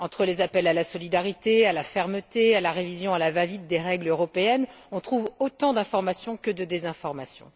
Entre les appels à la solidarité, à la fermeté, à la révision à la va vite des règles européennes, on trouve autant d'information que de désinformation.